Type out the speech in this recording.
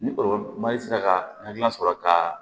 Ni sera ka hakilila sɔrɔ ka